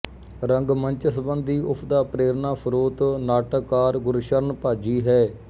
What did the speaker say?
ਰੰਗਮੰਚ ਸੰਬੰਧੀ ਉਸਦਾ ਪ੍ਰੇਰਨਾ ਸਰੋਤ ਨਾਟਕਕਾਰ ਗੁਰਸ਼ਰਨ ਭਾਜੀ ਹੈ